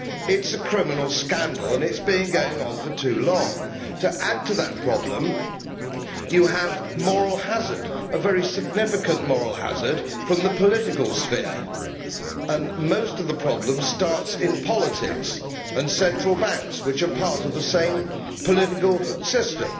It is a criminal scandal and it has been going on for too long. To add to that problem you have moral hazard a very significant moral hazard from the political sphere, and most of the problems start in politics and central banks, which are part of the same political system.